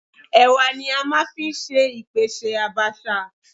Ẹ̀wà ni a máa ń fi ṣe ìpèsè Àbàṣà.